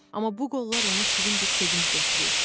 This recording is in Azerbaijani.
Amma bu qollar ona şirin bir sevinc gətirir.